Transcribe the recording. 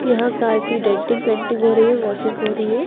यहाँ कार की denting painting हो रही है वाशिंग हो रही है।